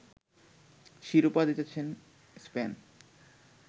শিরোপা জিতেছিল স্পেন